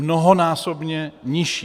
Mnohonásobně nižší.